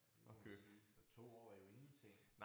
Det må man sige og 2 år er ingenting